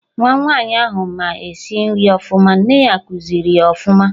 Nwa Nwaanyi ahụ ma esi nri ọfụma, nne ya kuziri ya ọfụma